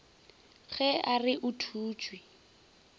ge a re o thutše